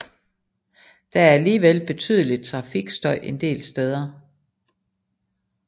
Der er alligevel betydelig trafikstøj en del steder